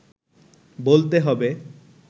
বলতে হবে